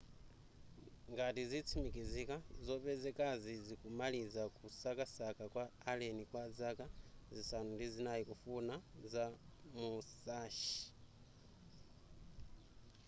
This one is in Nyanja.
ngati zitsimikizika zopezekazi zikumaliza kusakasaka kwa a alleni kwa zaka zisanu ndi zinai kufuna za musashi